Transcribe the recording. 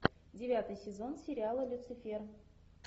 девятый сезон сериала люцифер